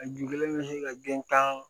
A ju kelen bɛ se ka gɛntan